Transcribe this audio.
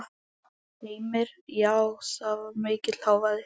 Heimir: Já var mikill hávaði?